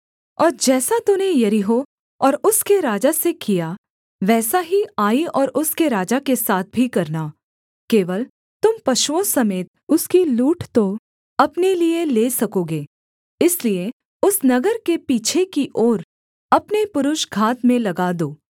और जैसा तूने यरीहो और उसके राजा से किया वैसा ही आई और उसके राजा के साथ भी करना केवल तुम पशुओं समेत उसकी लूट तो अपने लिये ले सकोगे इसलिए उस नगर के पीछे की ओर अपने पुरुष घात में लगा दो